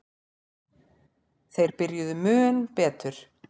Þeir byrjuðu mun betur.